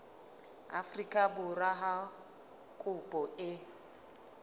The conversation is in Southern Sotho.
afrika borwa ha kopo e